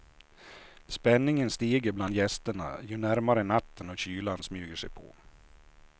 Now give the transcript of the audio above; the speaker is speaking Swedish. Spänningen stiger bland gästerna ju närmre natten och kylan smyger sig på.